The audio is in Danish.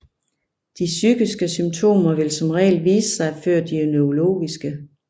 De psykiske symptomer vil som regel vise sig før de neurologiske